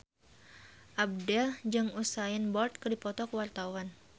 Abdel jeung Usain Bolt keur dipoto ku wartawan